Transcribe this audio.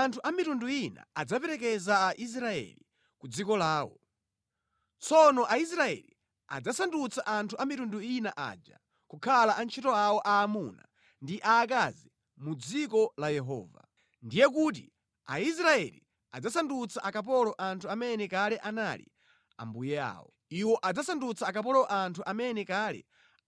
Anthu a mitundu ina adzaperekeza a Israeli ku dziko lawo. Tsono Aisraeli adzasandutsa anthu a mitundu ina aja kukhala antchito awo aamuna ndi aakazi mʼdziko la Yehova. Ndiye kuti Aisraeli adzasandutsa akapolo anthu amene kale anali ambuye awo. Iwo adzasandutsa akapolo anthu amene kale